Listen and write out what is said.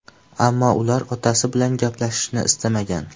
Ammo ular otasi bilan gaplashishni istamagan.